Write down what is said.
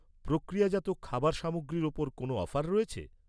প্রক্রিয়াজাত খাবারে সামগ্রীর ওপর কোনও অফার রয়েছে?